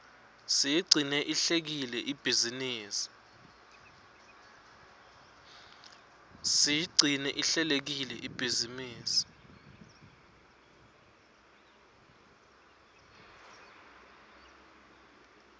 siyigcine ihlelekile ibhizinisi